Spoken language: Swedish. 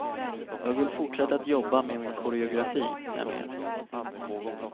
Jag vill fortsätta att jobba med min koreografi, nämligen.